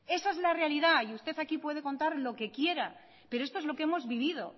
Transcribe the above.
esa es la realidad y usted aquí puede contar lo que quiere pero esto es lo que hemos vivido